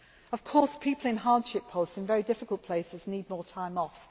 structure is. Of course people in hardship posts and very difficult places need more